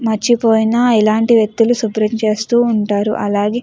మర్చిపోయిన ఇలాంటి వ్యక్తులు శుభ్రం చేస్తూ ఉంటారు. అలాగే --